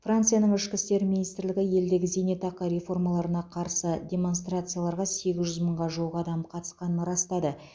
францияның ішкі істер министрлігі елдегі зейнетақы реформаларына қарсы демонстрацияларға сегіз жүз мыңға жуық адам қатысқанын растады